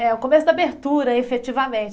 É o começo da abertura, efetivamente.